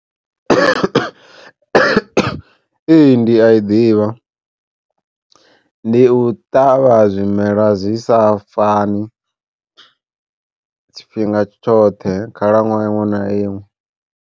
Ee ndi a i ḓivha ndi u ṱavha zwimela zwi sa fani tshifhinga tshoṱhe khalaṅwaha iṅwe na iṅwe.